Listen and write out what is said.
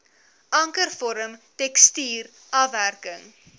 ankervorm tekstuur afwerking